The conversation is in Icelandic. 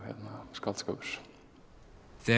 skáldskapur þegar